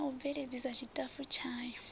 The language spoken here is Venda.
na u bveledzisa tshitafu tshayo